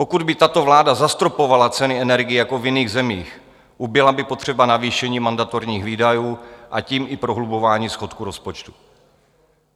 Pokud by tato vláda zastropovala ceny energií jako v jiných zemích, ubyla by potřeba navýšení mandatorních výdajů, a tím i prohlubování schodku rozpočtu.